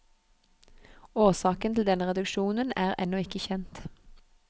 Årsaken til denne reduksjon er ennå ikke kjent.